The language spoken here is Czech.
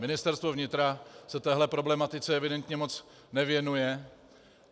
Ministerstvo vnitra se téhle problematice evidentně moc nevěnuje.